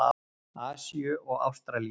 Asíu og Ástralíu.